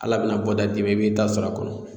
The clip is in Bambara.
Ala bɛna bɔda di ma i b'i ta sɔrɔ a kɔnɔ.